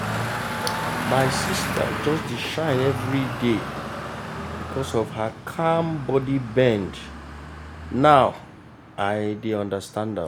my sister just dey shine everyday because of her calm body bend now i dey understand am.